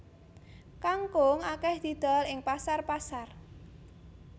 Kangkung akèh didol ing pasar pasar